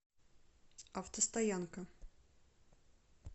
автостоянка